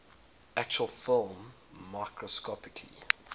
actual film microscopically